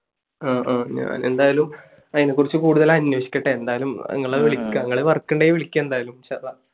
ങ്ഹാ ഹാ. എന്തായാലും അതിനെക്കുറിച്ച് കൂടുതൽ അന്വേഷിക്കട്ടെ. എന്തായാലും നിങ്ങളെ വിളിക്കാം. നിങ്ങളെ work ഉണ്ടെങ്കിൽ വിളിക്കാം എന്തായാലും. ഇൻഷാ അള്ളാ.